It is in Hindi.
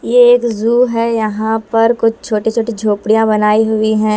ये एक झू है यहां पर कुछ छोटे छोटे झोपड़ियां बनाई हुई हैं।